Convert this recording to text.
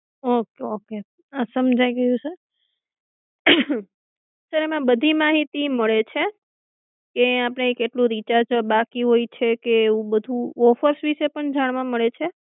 હમ okay સમજાઈ ગયું સે સર એમાં બધી માહિતી મળે છે કે આપણે કેટલું રિચાર્જ બાકી હોય છે કે એવું બધું ઓફર્સ વિષે પણ જાણવા મળે છે.